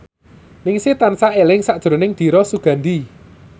Ningsih tansah eling sakjroning Dira Sugandi